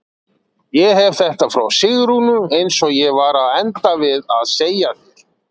Ég hef þetta frá Sigrúnu eins og ég var að enda við að segja þér.